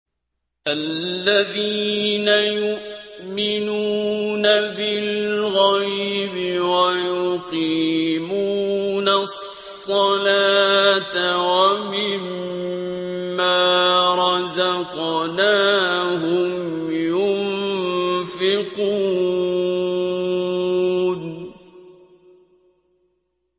الَّذِينَ يُؤْمِنُونَ بِالْغَيْبِ وَيُقِيمُونَ الصَّلَاةَ وَمِمَّا رَزَقْنَاهُمْ يُنفِقُونَ